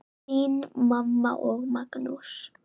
Þín mamma og Magnús.